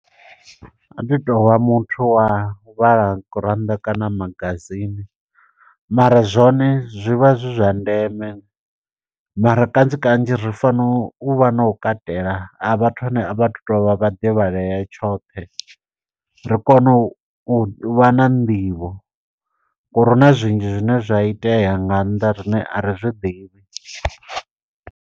U a ḓi tovha muthu wa u vhala gurannḓa kana magazine, mara zwone zwivha zwi zwa ndeme, mara kanzhi kanzhi ri fanela u vha na u katela ha vhathu ane a vhatu tovha vhaḓivhalea tshoṱhe. Ri kone u vha na nḓivho, ngo uri huna zwinzhi zwine zwa itea nga nnḓa riṋe a ri zwi ḓivhi.